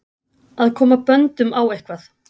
Að koma böndum á eitthvað